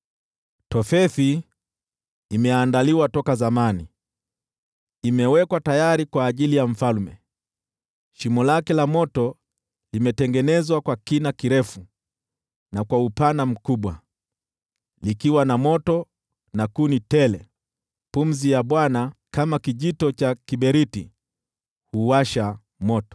Tofethi imeandaliwa toka zamani, imewekwa tayari kwa ajili ya mfalme. Shimo lake la moto limetengenezwa kwa kina kirefu na kwa upana mkubwa, likiwa na moto na kuni tele; pumzi ya Bwana , kama kijito cha kiberiti, huuwasha moto.